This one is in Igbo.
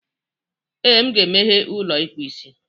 Ee, m ga-emeghe ụlọ ịkpụ isi.